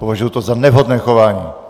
Považuji to za nevhodné chování!